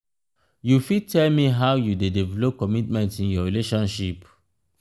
you fit tell me how you dey develop commitment in your relationship?